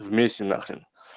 вместе нахрен